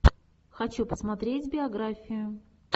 хочу посмотреть биографию